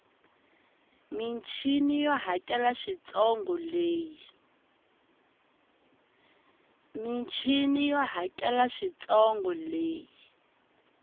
michini yo hakela swintsongo leyi